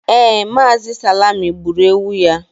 ee, Mazi salime gburu ewu ya